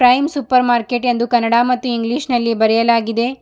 Prime supermarket ಎಂದು ಕನ್ನಡ ಮತ್ತು English ನಲ್ಲಿ ಬರೆಯಲಾಗಿದೆ.